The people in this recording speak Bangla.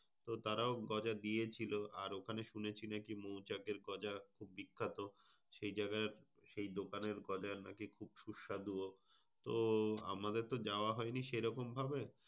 তো তারাও গজা দিয়েছিল। আর ওখানে শুনেছি যে মৌচাকের খুবই বিখ্যাত। সেই জায়গার সেই দোকানের গজা নাকি খুব সুস্বাদু ও? তো আমাদের তো যাওয়া হয়নি সেই রকম ভাবে।